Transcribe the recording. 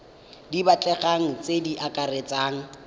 di batlegang tse di akaretsang